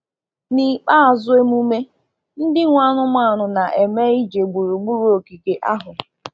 N’ikpeazụ emume, ndị nwe anụmanụ na-eme ije gburugburu ogige ahụ.